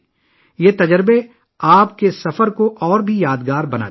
یہ تجربات آپ کے سفر کو مزید یادگار بنا دیں گے